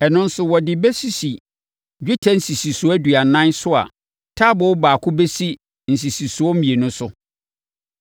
Ɛno nso wɔde bɛsisi dwetɛ nsisisoɔ aduanan so a taaboo baako bɛsi nsisisoɔ mmienu so.